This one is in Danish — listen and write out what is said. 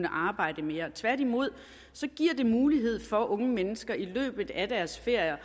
arbejde mere tværtimod giver det mulighed for at unge mennesker i løbet af deres ferier